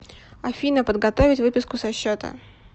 афина подготовить выписку со счета